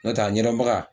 N'o tɛ a ɲɛnabaga